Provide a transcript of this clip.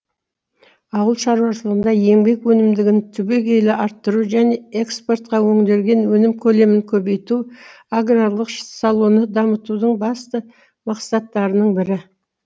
ауыл шаруашылығында еңбек өнімдігін түбегейлі арттыру және экспортқа өңделген өнім көлемін көбейту аграрлық саланы дамытудың басты мақсаттарының бірі